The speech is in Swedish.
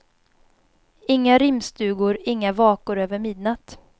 Inga rimstugor, inga vakor över midnatt.